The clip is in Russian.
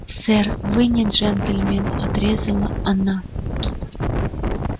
сэр вы не джентльмен отрезала она